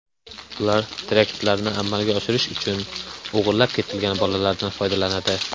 Ular teraktlarni amalga oshirish uchun o‘g‘irlab ketilgan bolalardan foydalanadi.